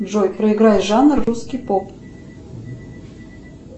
джой проиграй жанр русский поп